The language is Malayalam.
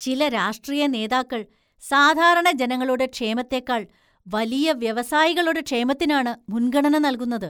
ചില രാഷ്ട്രീയ നേതാക്കള്‍ സാധാരണ ജനങ്ങളുടെ ക്ഷേമത്തേക്കാള്‍ വലിയ വ്യവസായികളുടെ ക്ഷേമത്തിനാണ് മുന്‍ഗണന നല്‍കുന്നത്.